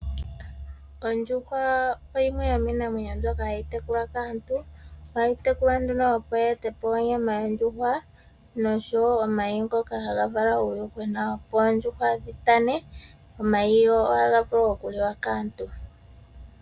Oondjuhwa oyo yimwe yomiinamwenyo mbyoka hayi tekulwa kaantu . Ohayi tekulwa nee opo yi e te po onyama yondjuhwa nosho woo omayi ngoka haga vala uuyuhwena opo oondjuhwa dhi tane nomayi ohaga vulu oku liwa kaantu.